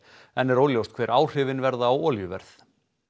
enn er óljóst hver áhrifin verða á olíuverð